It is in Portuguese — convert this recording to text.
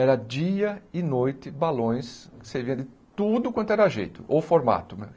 Era dia e noite balões, você via de tudo quanto era jeito, ou formato.